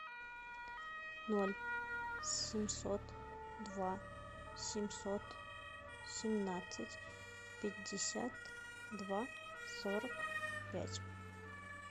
ноль семьсот два семьсот семнадцать пятьдесят два сорок пять